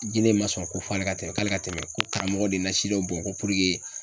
Jinɛ ma sɔn ko ale ka tɛmɛ ko karamɔgɔ de ye nasi dɔ bɔn ko